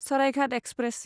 Saraighat express